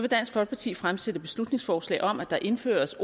dansk folkeparti fremsætte et beslutningsforslag om at der indføres